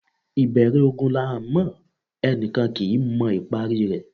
Ìbẹ̀rẹ̀ ogun là ńmọ̀; ẹni kan kì í mọ ìparí i rẹ̀.